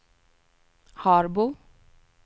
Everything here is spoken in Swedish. Harbo